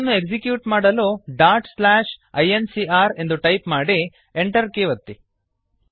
code ಅನ್ನು execute ಮಾಡಲು dot slash I N C R ಎಂದು ಟೈಪ್ ಮಾಡಿ Enter ಕೀಯನ್ನು ಒತ್ತಿ